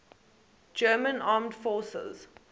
german armed forces